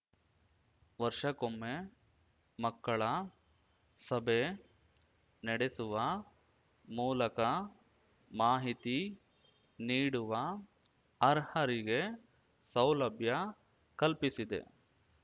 ವರ್ಷಕ್ಕೊಮ್ಮೆ ಮಕ್ಕಳ ಸಭೆ ನೆಡೆಸುವ ಮೂಲಕ ಮಾಹಿತಿ ನೀಡುವ ಅರ್ಹರಿಗೆ ಸೌಲಭ್ಯ ಕಲ್ಪಿಸಿದೆ